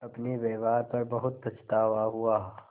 अपने व्यवहार पर बहुत पछतावा हुआ